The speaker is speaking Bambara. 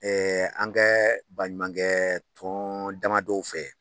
an kɛ baɲumankɛ tɔn damadɔw fɛ